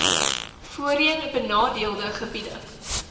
voorheen benadeelde gebiede